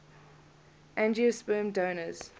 angiosperm orders